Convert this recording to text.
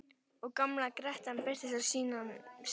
Og gamla grettan birtist á sínum stað.